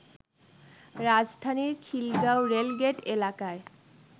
রাজধানীর খিলগাঁও রেলগেট এলাকায়